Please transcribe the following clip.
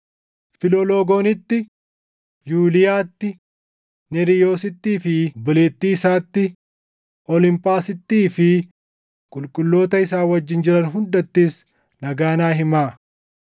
Filologoonitti, Yuuliyaatti, Neeriyoosittii fi obboleettii isaatti, Olimphaasittii fi qulqulloota isaan wajjin jiran hundattis nagaa naa himaa.